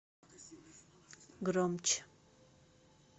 громче